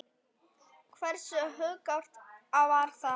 Hversu hugrakkt var það?